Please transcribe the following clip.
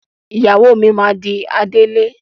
Ìyàwó mi máa di adelé.